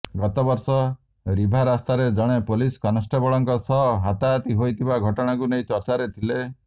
ଗତବର୍ଷ ରିଭା ରାସ୍ତାରେ ଜଣେ ପୋଲିସ କନେଷ୍ଟବଳଙ୍କ ସହ ହାତାହାତି ହୋଇଥିବା ଘଟଣାକୁ ନେଇ ଚର୍ଚ୍ଚାରେ ଥିଲେ